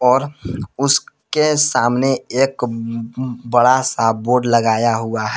और उसके सामने एक अम बड़ा सा बोर्ड लगाया हुआ है।